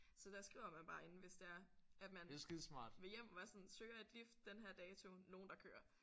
Så der skriver man bare inde hvis det er at man vil hjem og være sådan søger et lift den her dato nogen der kører